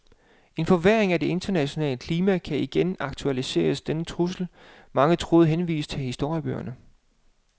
En forværring af det internationale klima kan igen aktualisere den trussel, mange troede henvist til historiebøgerne.